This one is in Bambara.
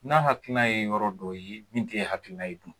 N'a hakilina ye yɔrɔ dɔ ye min tɛ e hakilina ye dun?